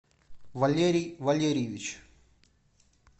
валерий валерьевич